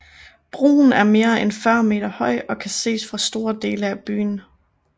Broen er mere end 40 meter høj og kan ses fra store dele af byen